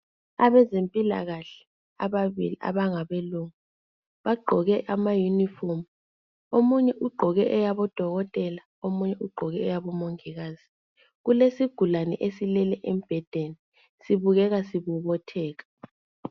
Abezempilakahle ababili abangabelungu bagqoke amayunifomu omunye ugqoke eyabo dokotela omunye ugqoke eyabo mongikazi kulesigulane esilele embhedeni sibukeka sibobotheka.